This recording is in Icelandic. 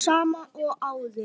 Sama og áður.